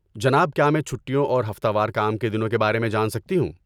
جناب، کیا میں چھٹیوں اور ہفتہ وار کام کے دنوں کے بارے میں جان سکتی ہوں؟